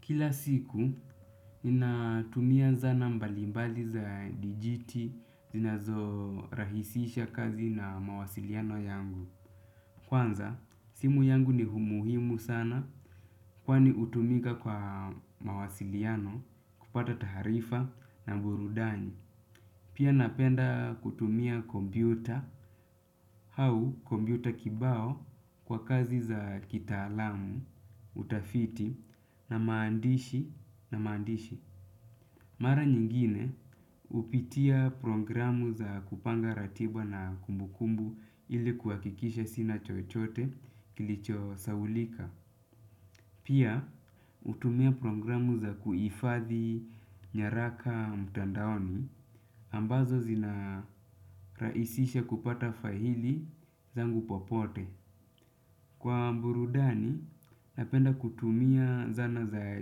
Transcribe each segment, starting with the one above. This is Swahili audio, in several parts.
Kila siku, ninatumia zana mbalimbali za dijiti zinazorahisisha kazi na mawasiliano yangu. Kwanza, simu yangu ni umuhimu sana kwani hutumika kwa mawasiliano kupata taarifa na burudani. Pia napenda kutumia kompyuta, au kompyuta kibao kwa kazi za kitaalamu, utafiti na maandishi. Mara nyingine hupitia programu za kupanga ratiba na kumbukumbu ili kuhakikisha sina chochote kilichosahaulika. Pia hutumia programu za kuifadhi nyaraka mtandaoni ambazo zinarahisisha kupata faili zangu popote. Kwa burudani, napenda kutumia zana za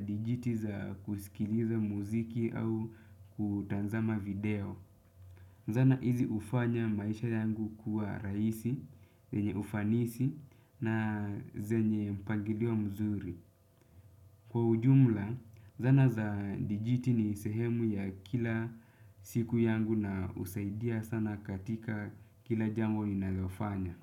dijiti za kusikiliza muziki au kutazama video. Zana hizi hufanya maisha yangu kuwa rahisi, zenye ufanisi na zenye mpangilio mzuri. Kwa ujumla, zana za dijiti ni sehemu ya kila siku yangu na husaidia sana katika kila jambo ninalofanya.